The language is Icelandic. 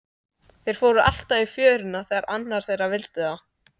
Þeir fóru alltaf í fjöruna þegar annar þeirra vildi það.